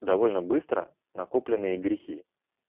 довольно быстро накопленные грехи